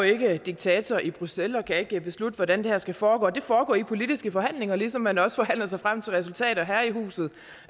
ikke er diktator i bruxelles og ikke kan beslutte hvordan det her skal foregå det foregår i politiske forhandlinger ligesom man også forhandler sig frem til resultater her i huset